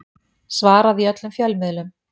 Svaraði í öllum fjölmiðlum